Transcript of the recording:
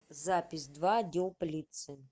запись два отдел полиции